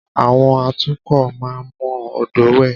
À̀wọn atukọ̀ máa ń mọ odòó wẹ̀